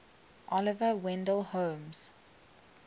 oliver wendell holmes